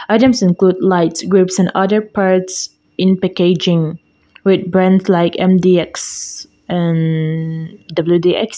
items include lights grips and other parts in packaging with brand like M_D_X and W_D_X.